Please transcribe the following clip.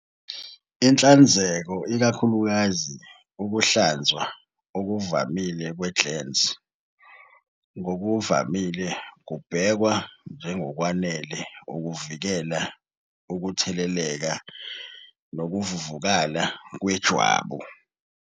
Inhlanzeko, ikakhulukazi ukuhlanzwa okuvamile kwe-glans, ngokuvamile kubhekwa njengokwanele ukuvikela ukutheleleka nokuvuvukala kwejwabu.